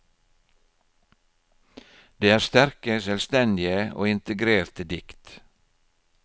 Det er sterke, selvstendige og integrerte dikt.